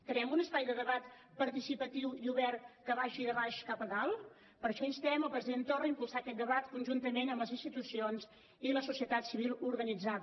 creem un espai de debat participatiu i obert que vagi de baix cap a dalt per això instem el president torra a impulsar aquest debat conjuntament amb les institucions i la societat civil organitzada